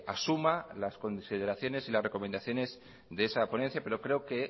asuma las consideraciones y las recomendaciones de esa ponencia pero creo que